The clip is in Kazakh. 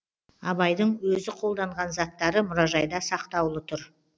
абайдың өзі қолданған заттары мұражайда сақтаулы тұр